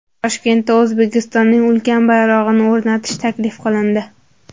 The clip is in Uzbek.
Toshkentda O‘zbekistonning ulkan bayrog‘ini o‘rnatish taklif qilindi.